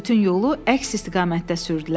Bütün yolu əks istiqamətdə sürdülər.